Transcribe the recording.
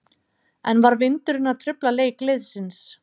En var vindurinn að trufla leik liðsins?